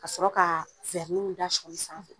Ka sɔrɔ kaa da sɔɔni sanfɛ.